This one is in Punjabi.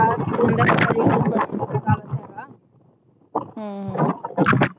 ਹਮ ਹਮ